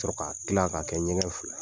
Sɔrɔ k'a kila ka kɛ ɲɛgɛn fila ye.